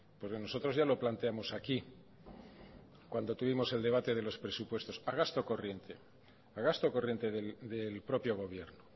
porque nosotros ya lo planteamos aquí cuando tuvimos el debate de los presupuestos a gasto corriente del propio gobierno